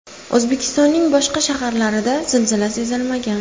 O‘zbekistonning boshqa shaharlarida zilzila sezilmagan.